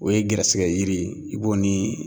O ye gɛrɛsɛgɛ yiri ye, i b'o ni